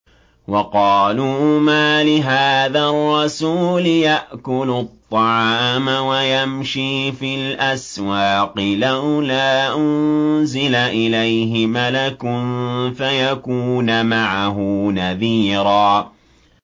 وَقَالُوا مَالِ هَٰذَا الرَّسُولِ يَأْكُلُ الطَّعَامَ وَيَمْشِي فِي الْأَسْوَاقِ ۙ لَوْلَا أُنزِلَ إِلَيْهِ مَلَكٌ فَيَكُونَ مَعَهُ نَذِيرًا